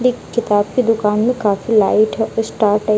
किताब की दुकान में काफी लाइट है स्टार टाइप --